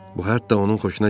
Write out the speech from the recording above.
Bu hətta onun xoşuna gəldi.